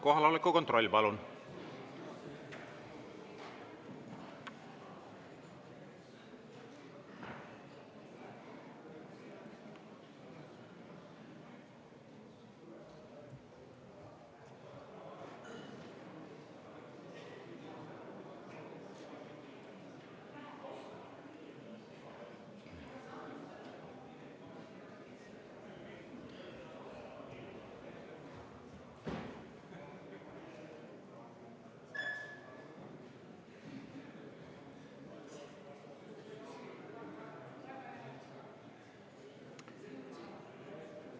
Kohaloleku kontroll, palun!